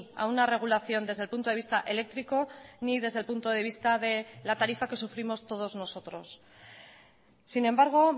a una regulación desde el punto de vista eléctrico ni desde el punto de vista de la tarifa que sufrimos todos nosotros sin embargo